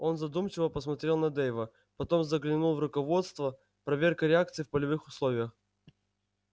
он задумчиво посмотрел на дейва потом заглянул в руководство проверка реакций в полевых условиях